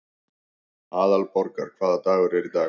Aðalborgar, hvaða dagur er í dag?